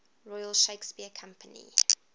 royal shakespeare company